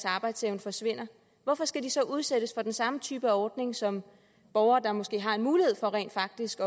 arbejdsevne forsvinder hvorfor skal de så udsættes for den samme type ordning som borgere der måske har en mulighed for rent faktisk